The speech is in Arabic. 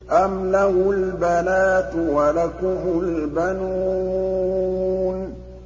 أَمْ لَهُ الْبَنَاتُ وَلَكُمُ الْبَنُونَ